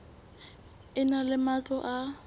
e na le matlo a